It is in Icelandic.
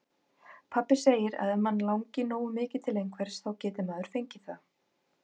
Pabbi segir að ef mann langi nógu mikið til einhvers, þá geti maður fengið það.